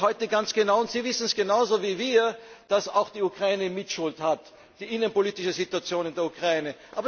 Wir wissen doch heute ganz genau und Sie wissen es genau so wie wir dass auch die Ukraine eine Mitschuld trägt, die innenpolitische Situation in der Ukraine.